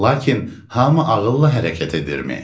Lakin hamı ağılla hərəkət edirmi?